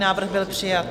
Návrh byl přijat.